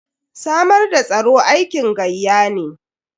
Samar da tsaro aikin gayya ne.